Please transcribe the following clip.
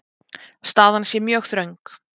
Staðan sé mjög þröng.